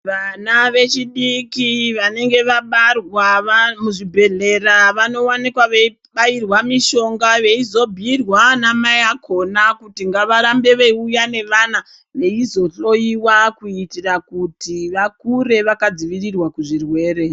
Vana vechidiki vanenge vabarwa muzvibhedhlera vanovanika veibairwa mishonga veizobhuirwa nanamai vakona kuti ngavarambe veiuya nevana veizohloiwa. Kuitira kuti vakure vakadzivirirwa kuzvirwere.